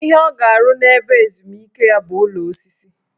Ihe ọ ga-arụ n' ebe ezumike ya bụ ụlọ osisi